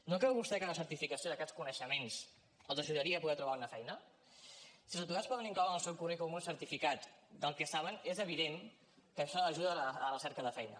no creu vostè que la certificació d’aquests coneixements els ajudaria a poder trobar una feina si els aturats poden incloure en el seu currículum un certificat del que saben és evident que això ajudarà a la cerca de feina